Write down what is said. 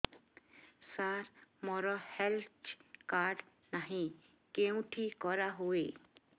ସାର ମୋର health card ନାହିଁ କେଉଁଠି କରା ହୁଏ